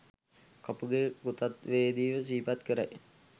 කපුගේ කෘතවේදීව සිහිපත් කරයි.